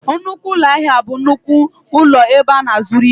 Nnukwu ụlọ ahịa bụ nnukwu ụlọ ebe a na-azụrụ ihe